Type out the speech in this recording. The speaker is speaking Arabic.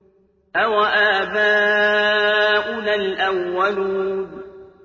أَوَآبَاؤُنَا الْأَوَّلُونَ